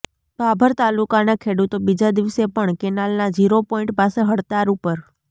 ભાભર તાલુકાના ખેડૂતો બીજા દિવસે પણ કેનાલના ઝીરો પોઈન્ટ પાસે હડતાળ ઉપર